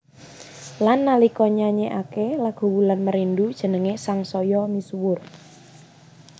Lan nalika nyanyékaké lagu Wulan Merindu jenengé sangsaya misuwur